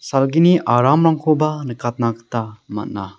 salgini aramrangkoba nikatna gita man·a.